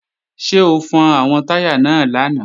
Ṣé o fọn àwọn táyà náà lánàá?